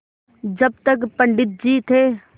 जब तक पंडित जी थे